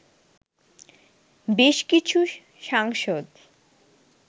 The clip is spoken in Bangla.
বেশ কিছু সাংসদ